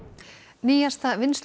nýjasta